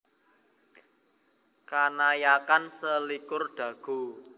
Kanayakan selikur Dago